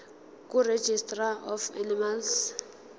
kuregistrar of animals